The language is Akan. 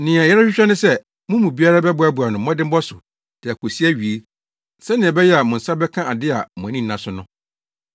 Nea yɛrehwehwɛ ne sɛ mo mu biara bɛboa no mmɔdemmɔ so de akosi awiei sɛnea ɛbɛyɛ a mo nsa bɛka ade a mo ani da so no.